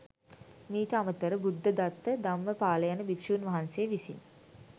මීට අමතර, බුද්ධදත්ත, ධම්මපාල යන භික්‍ෂූන් වහන්සේ විසින්